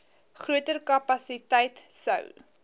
groter kapasiteit sou